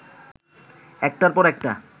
একটার পর একটা